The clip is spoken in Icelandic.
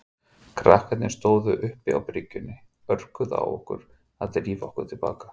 Krakkarnir sem stóðu uppi á bryggjunni örguðu á okkur að drífa okkur til baka.